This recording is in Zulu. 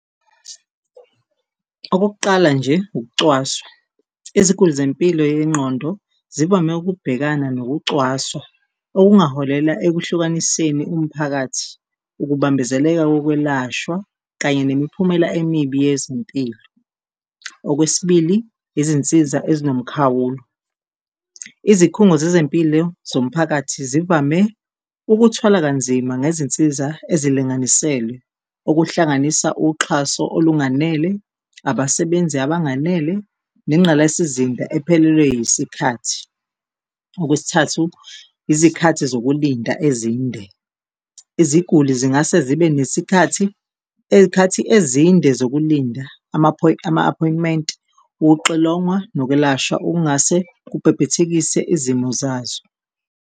Okokuqala nje, ukucwaswa, iziguli zempilo yengqondo zivame ukubhekana nokucwaswa, okungaholela ekuhlukaniseni umphakathi, ukubambezeleka kokwelashwa kanye nemiphumela emibi yezempilo. Okwesibili, izinsiza ezinomkhawulo, izikhungo zezempilo zomphakathi zivame ukuthwala kanzima ngezinsiza ezilinganiselwe, okuhlanganisa uxhaso olunganele, abasebenzi abanganele nengqalasizinda ephelelwe yisikhathi. Okwesithathu, izikhathi zokulinda ezinde, iziguli zingase zibe izikhathi ezinde zokulinda ama-appointment, ukuxilongwa nokwelashwa okungase kubhebhethekise izimo zazo.